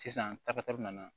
Sisan tapita nana